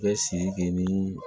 Bɛ siriki ni